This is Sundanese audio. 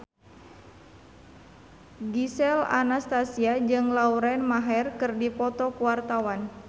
Gisel Anastasia jeung Lauren Maher keur dipoto ku wartawan